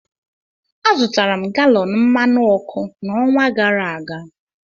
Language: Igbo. Azụtara m galọn mmanụ ọkụ n'ọnwa gara aga